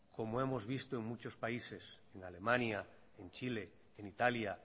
como hemos visto en muchos países en alemania en chile en italia